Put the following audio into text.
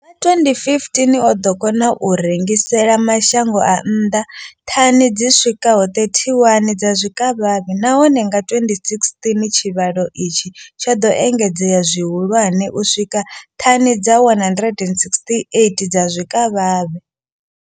Nga 2015, o ḓo kona u rengisela mashango a nnḓa thani dzi swikaho 31 dza zwikavhavhe, nahone nga 2016 tshivhalo itshi tsho ḓo engedzea zwihulwane u swika kha thani dza 168 dza zwikavhavhe.